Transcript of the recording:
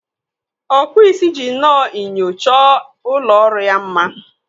Ọkpụ isi ji nnọọ enyo chọọ ụlọ ọrụ ya mma.